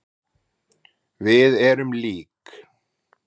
Við erum lík.